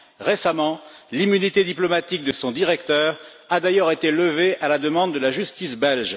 Récemment, l'immunité diplomatique de son directeur a d'ailleurs été levée à la demande de la justice belge.